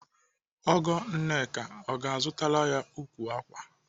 Ọgọ Nneka ọ ga-azụtara ya ukwu ákwà?